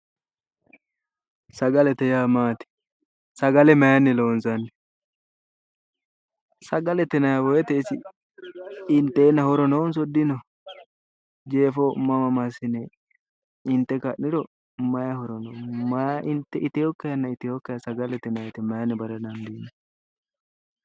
Sagalete yaa maati? sagale maayiinni loonsanni? sagale yinaayi wote isi inteenna horo noonso dino? jeefo mama massine inte ka'niro mayi horo. iteehanna iteekkiha sagaletenni maayiinni bandayi?